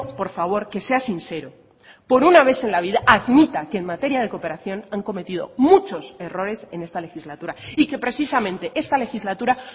por favor que sea sincero por una vez en la vida admita que en materia de cooperación han cometido muchos errores en esta legislatura y que precisamente esta legislatura